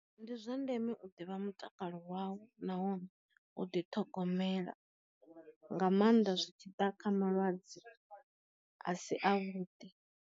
Ndi zwa ndeme u ḓivha mutakalo wa u nahone u ḓi ṱhogomela, nga maanḓa zwi tshi ḓa kha malwadze a si a vhuḓi.